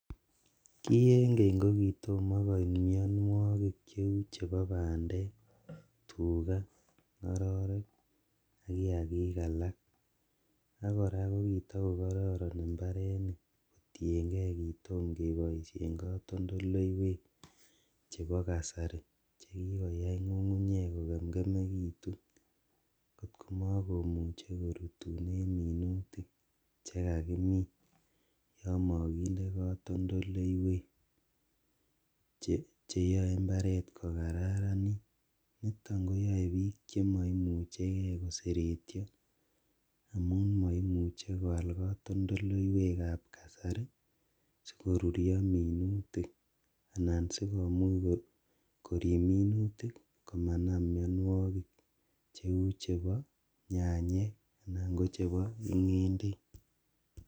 Ki en keny kokitomo koit mianwokik cheu chepo bandek, Tuka, ng'ororek ak kiaki alak ,ak kora ko kitokokororon mbarenik kotienge kitomo keboisien katoltoleywek chepo kasari chekikoya ng'ung'unyek kokemkemekitu kot komokumche korutunen mitunik chekakimini yon mokinde kototoleywek cheyoe mbaret kokararanit nito koyoe biik chemoimucheke koseretyo amun moimuche koal katoltoleywekab kasari sikorurio minutik anan sikomuch korib minutik komanam mionwokik cheu chepo nyanyek anan kochepo ng'endek.